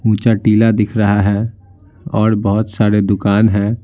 ऊंचा टीला दिख रहा है और बहुत सारे दुकान हैं।